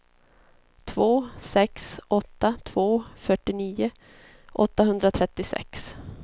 två sex åtta två fyrtionio åttahundratrettiosex